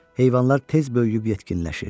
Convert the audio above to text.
Heyvanlar tez böyüyüb yetkinləşir.